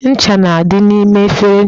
Ncha na-adị n'ime efere ncha